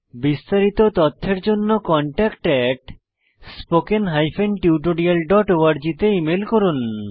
বিস্তারিত তথ্যের জন্য contactspoken tutorialorg তে ইমেল করুন